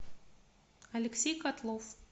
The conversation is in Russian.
алексей котлов